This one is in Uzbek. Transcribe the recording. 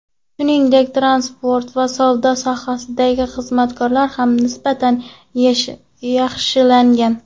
Shuningdek, transport va savdo sohasidagi xizmatlar ham nisbatan yaxshilangan.